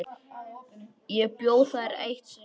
Ég bjó þar eitt sumar.